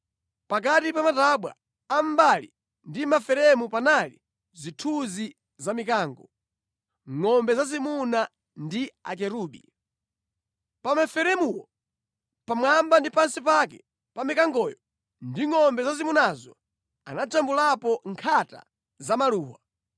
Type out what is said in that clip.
Pakati pa matabwa a mʼmbali ndi maferemu panali zithunzi za mikango, ngʼombe zazimuna ndi akerubi. Pa maferemuwo, pamwamba ndi pansi pake pa mikangoyo ndi ngʼombe zazimunazo anajambulapo nkhata za maluwa.